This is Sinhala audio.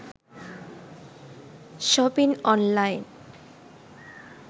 shopping online